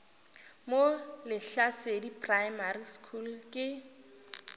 mo lehlasedi primary school ke